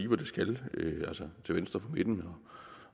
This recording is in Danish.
hvor det skal altså til venstre for midten